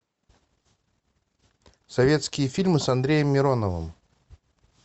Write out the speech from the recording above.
советские фильмы с андреем мироновым